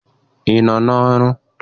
Ị nọ n'ọrụ?